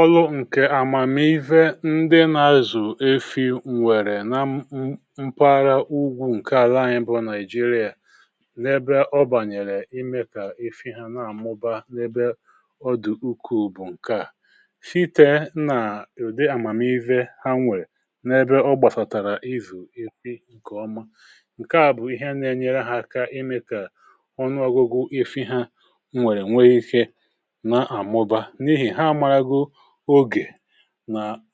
ọlụ ǹkè àmàmihe ndị na-azù efi nwèrè na m mpàra ugwu ǹke àlà anyị bụ nàijirià um n’ebe ọ bànyèrè ịmė kà efi ha na-àmụba n’ebe ọdụ̀ ukù bụ̀ ǹkeà. site n’ụ̀dị àmàmihe ha nwèrè n’ebe ọ gbàsàtàrà ịzù efi ǹkèọma, ǹkeà bụ̀ ihe na-enyere ha aka ịmė kà ọnụọgụgụ efi ha nwèrè nwee ike nà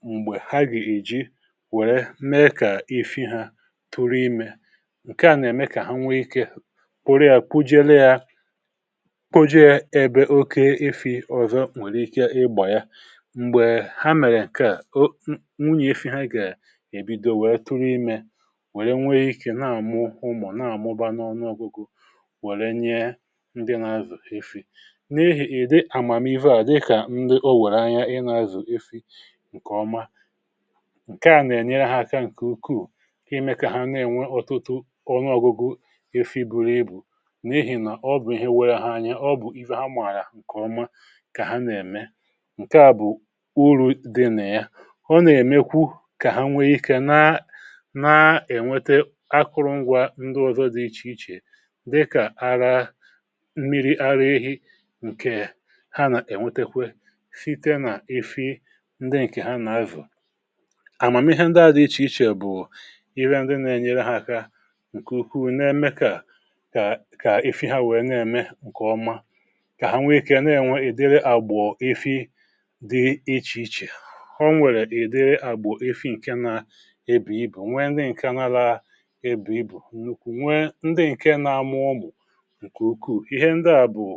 m̀gbè ha gì èji wère mee kà ifi ha tụrụ imė, ǹke à nà-ème kà ha nwee ikė pụrụ ya kwụjėre ya kwụjėre ebe oke ifi̇ ọzọ nwèrè ike igbà ya. m̀gbè ha mèrè ǹkè a nwunyè ifi ha gà-èbido wère tụrụ imė, wère nwee ikė na-àmụ homọ̀ na-àmụba n’ọnụ ȯgugù. wère nye ndị na-afì ǹkèọma, ǹkèa nà-ènyere ha aka ǹkè ukwuù ka ime kà ha na-enwe ọtụtụ ọnụọgụgụ efi buru ibu̇ na-ehi. nà ọ bụ̀ ihe nwee ha anya, ọ bụ̀ ihe ha mààlà. ǹkèọma kà ha nà-ème ǹke à bụ̀ uru̇ dị nà ya, ọ nà-èmekwu kà ha nwee ikė na-ènwete akụrụngwȧ ndụ ọ̀zọ dị ichè ichè dịkà ara, mmiri ara ehi ǹkè ha nà-ènwetekwe um ndị ǹkè ha nà-avò, amàmihe ndị ha dị ichè ichè bụ̀ ihe ndị nà-enyere ha aka ǹkè ukwuu, na-eme kà ifi ha wèe na-ème ǹkè ọma. kà ha nwee ikė na-ènwe ìdiri àgbụ̀ ifi dị ichè ichè, ha onwèrè ìdiri àgbụ̀ ifi ǹke na ebù ibù, nwe ndị ǹkè n’ala ebù ibù, nwe ndị ǹkè na-amụọ. bụ̀ ǹkè ukwu, ihe ndị à bụ̀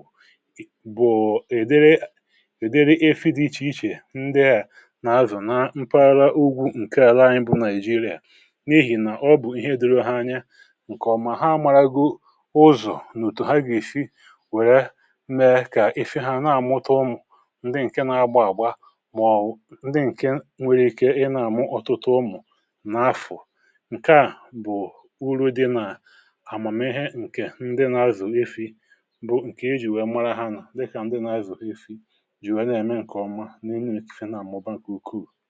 nà-azù na mpara ugwu ǹke àla anyị bụ nàịjirịà. n’ehi̇, nà ọ bụ̀ ihe dịrọ ha anya um, ǹkè ọ̀mà ha mara go ụzọ̀ nòtù ha gà-èfi wère mee kà efi ha na-àmụta ụmụ̀ ǹdeè, ǹke na-agba agba, màọ̀wụ̀ ǹdị ǹke nwere ike inà-àmụ ọtụtụ ụmụ̀ n’afọ̀. ǹke à bụ̀ uru dị nà àmàmihe ǹke ndị na-azù efi̇, bụ ǹke e jì wee mara ha nà dịkà ndị na-azù ha efi̇ ǹkè ọ̀.